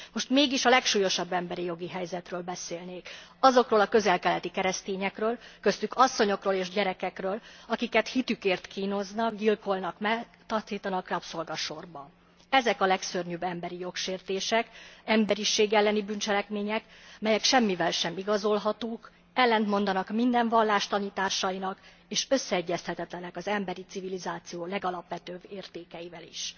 Most mégis a legsúlyosabb emberi jogi helyzetről beszélnék azokról a közel keleti keresztényekről, köztük asszonyokról és gyerekekről, akiket hitükért kínoznak, gyilkolnak meg, taszítanak rabszolgasorba. Ezek a legszörnyűbb emberijog sértések, emberiség elleni bűncselekmények, melyek semmivel sem igazolhatók, ellentmondanak minden vallás tanításainak, és összeegyeztethetetlenek az emberi civilizáció legalapvetőbb értékeivel is.